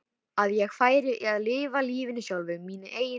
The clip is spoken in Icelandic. Að ég færi að lifa lífinu sjálf, mínu eigin lífi?